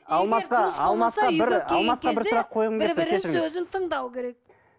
алмасқа алмасқа бір алмасқа бір сұрақ қойғым келіп тұр кешіріңіз тыңдау керек